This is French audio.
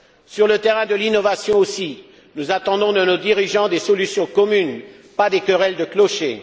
Sur le terrain de l'innovation aussi, nous attendons de nos dirigeants des solutions communes, et non pas des querelles de clocher.